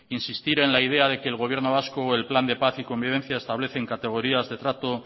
insistir en la idea de que el gobierno vasco o el plan de paz y convivencia establecen categorías de trato